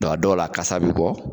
Dɔn a dɔwla a kasa be bɔ